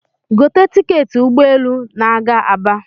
gote tiketị ụgbọelu na-aga Aba